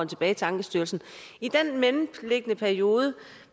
tilbage til ankestyrelsen i den mellemliggende periode